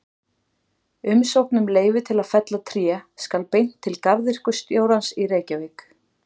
Umsókn um leyfi til að fella tré skal beint til garðyrkjustjórans í Reykjavík.